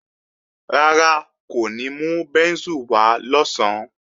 Rárá, kò ní mú bẹ́ńsù wá lọ̀sán